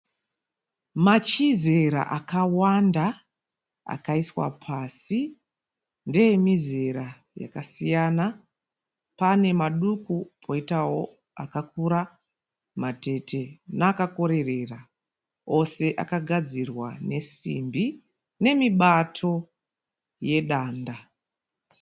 Machizera akawanda akaiswa pasi. Ndeemizera yakasiyana. Panemaduku poitawo akakura, matete neakakorerera. Ose akagadzirwa nesimbi nemibato yedanda.